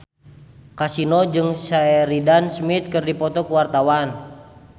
Kasino jeung Sheridan Smith keur dipoto ku wartawan